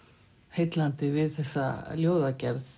heillandi við þessa ljóðagerð